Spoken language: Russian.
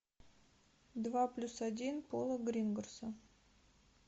два плюс один пола гринграсса